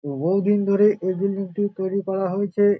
বহুদিন ধরে এই বিল্ডিং -টি তৈরী করা হয়েছে।